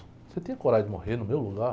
Você tem coragem de morrer no meu lugar?